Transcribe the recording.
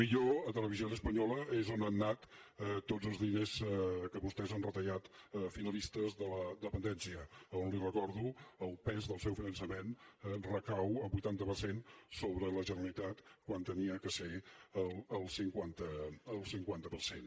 potser a televisión española és on han anat tots els diners que vostès han retallat finalistes de la dependència a on li ho recordo el pes del seu finançament recau en un vuitanta per cent sobre la generalitat quan havia de ser el cinquanta per cent